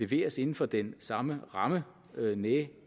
leveres inden for den samme ramme næh